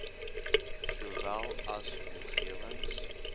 sowel as omgewings